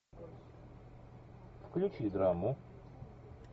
включи драму